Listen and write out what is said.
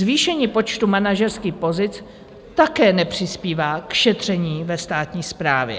Zvýšení počtu manažerských pozic také nepřispívá k šetření ve státní správě.